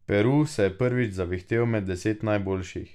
Peru se je prvič zavihtel med deset najboljših.